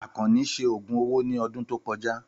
Àkànní ṣe ògùn owó ní ọdún tó kọjá.